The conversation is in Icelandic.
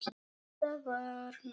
Þetta var napurt.